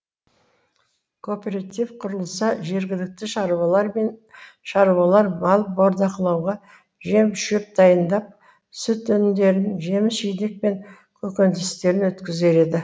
кооператив құрылса жергілікті шаруалар мал бордақылауға жем шөп дайындап сүт өнімдерін жеміс жидек пен көкөністерін өткізер еді